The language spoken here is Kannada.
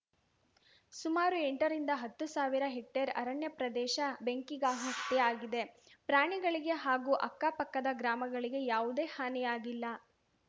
ಸುಮಾರು ಎಂಟರಿಂದ ಹತ್ತು ಸಾವಿರ ಹೆಕ್ಟೇರ್‌ ಅರಣ್ಯ ಪ್ರದೇಶ ಬೆಂಕಿಗಾಹುತಿಯಾಗಿದೆ ಪ್ರಾಣಿಗಳಿಗೆ ಹಾಗೂ ಅಕ್ಕಪಕ್ಕದ ಗ್ರಾಮಗಳಿಗೆ ಯಾವುದೇ ಹಾನಿಯಾಗಿಲ್ಲ